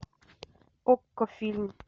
окко фильм